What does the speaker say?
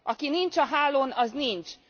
Aki nincs a hálón, az nincs!